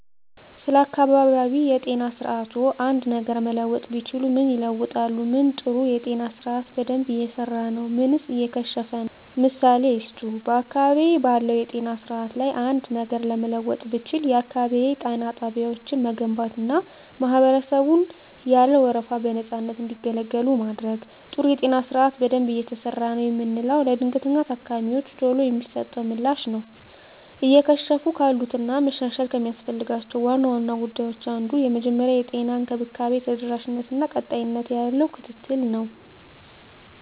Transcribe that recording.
ስለ አካባቢያዊ የጤና ስርዓትዎ አንድ ነገር መለወጥ ቢችሉ ምን ይለውጣሉ? ምን ጥሩ የጤና ስርአት በደንብ እየሰራ ነው ምንስ እየከሸፈ ነው? ምሳሌ ይስጡ። *በአካባቢዬ ባለው የጤና ስርዓት ላይ አንድ ነገር ለመለወጥ ብችል፣ *የአካባቢ ጤና ጣቢያዎችን መገንባትና ማህበረሰቡን ያለ ወረፋ በነፃነት እንዲገለገሉ ማድረግ። *ጥሩ የጤና ስርዓት በደንብ እየሰራ ነው የምለው፦ ለድንገተኛ ታካሚወች ቶሎ የሚሰጠው ምላሽ ነው። *እየከሸፉ ካሉት እና መሻሻል ከሚያስፈልጋቸው ዋና ዋና ጉዳዮች አንዱ የመጀመሪያ ደረጃ የጤና እንክብካቤ ተደራሽነት እና ቀጣይነት ያለው ክትትል ነው።